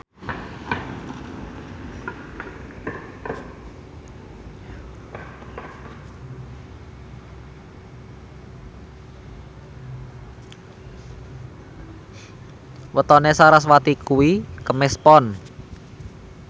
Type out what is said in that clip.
wetone sarasvati kuwi Kemis Pon